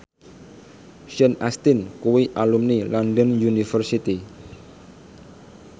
Sean Astin kuwi alumni London University